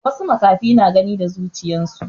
wasu makahi na Gani da zuchiyansu